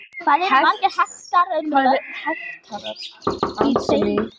Hvað eru margir hektarar í tveimur ferkílómetrum?